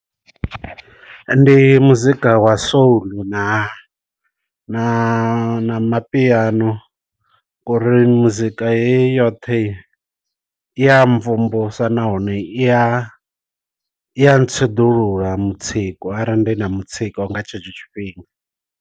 Ndi muzika wa soul na na mapiano ngori muzika heyi yoṱhe i ya mvumvusa nahone iya i a ntsiḓulula mutsiko arali ndi na mutsiko nga tshetsho tshifhinga.